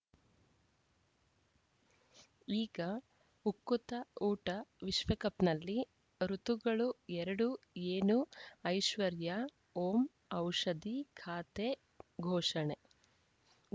ಈಗ ಉಕುತ ಊಟ ವಿಶ್ವಕಪ್‌ನಲ್ಲಿ ಋತುಗಳು ಎರಡು ಏನು ಐಶ್ವರ್ಯಾ ಓಂ ಔಷಧಿ ಖಾತೆ ಘೋಷಣೆ